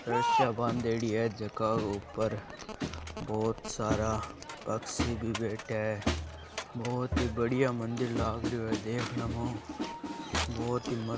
रस्सिया बांदेड़ी है जका के ऊपर बहुत सारा पक्षी भी बैठा है बहुत ही बढ़िया मंदिर लाग रहो है देखने में ओ बहुत ही म --